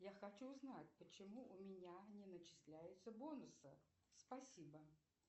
я хочу узнать почему у меня не начисляются бонусы спасибо